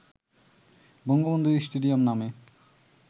Bangabandhu stadium নামে